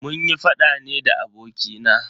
Munyi faɗa ne da abokina.